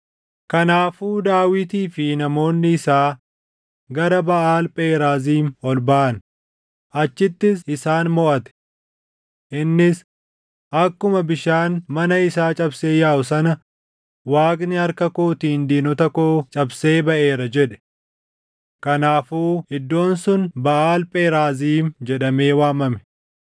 Kanaafuu Daawitii fi namoonni isaa gara Baʼaal Pheraaziim ol baʼan; achittis isaan moʼate. Innis, “Akkuma bishaan mana isaa cabsee yaaʼu sana Waaqni harka kootiin diinota koo cabsee baʼeera” jedhe. Kanaafuu iddoon sun Baʼaal Pheraaziim jedhamee waamame.